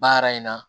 Baara in na